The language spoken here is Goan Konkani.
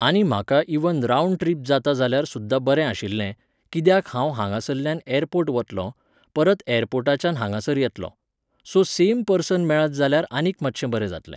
आनी म्हाका इवन रावंड ट्रिप जाता जाल्यार सुद्दा बरें आशिल्लें, किद्याक हांव हांगासल्यान एरपोर्ट वतलों, परत एयर्पोटच्यान हांगासर येतलों.सो सेम पर्सन मेळत जाल्यार आनीक मातशें बरें जातलें.